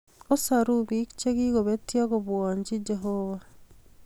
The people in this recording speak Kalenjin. Osoru biik chikikobetyo kobwanji Jehovah